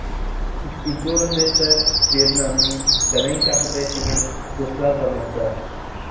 Ikkinchi o‘rinda esa Vyetnamning Danang shahrida yashagan do‘stlar bormoqda.